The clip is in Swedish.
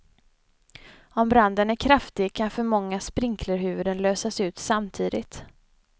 Om branden är kraftig kan för många sprinklerhuvuden lösas ut samtidigt.